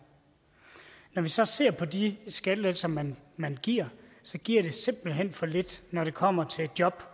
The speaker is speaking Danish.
når vi så ser på de skattelettelser man man giver giver det simpelt hen for lidt når det kommer til job